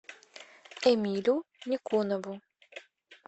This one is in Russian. эмилю никонову